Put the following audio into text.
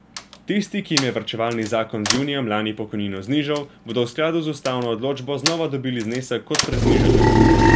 Tisti, ki jim je varčevalni zakon z junijem lani pokojnino znižal, bodo v skladu z ustavno odločbo znova dobili znesek kot pred znižanjem.